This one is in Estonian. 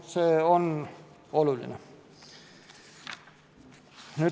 See on oluline.